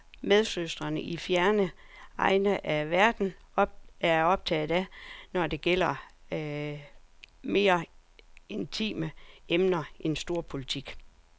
Det er altid spændende at høre, hvad medsøstre i fjerne egne af verden er optaget af, når det gælder mere intime emner end storpolitik.